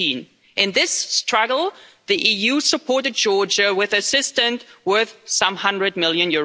19. In this struggle, the EU supported Georgia with assistance worth some EUR 100 million.